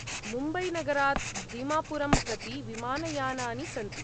मुम्बैनगरात् दीमापुरं प्रति विमानयानानि सन्ति।